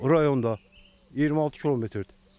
Rayonda 26 kmdir.